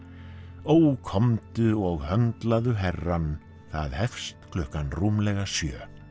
ó komdu og herrann það hefst klukkan rúmlega sjö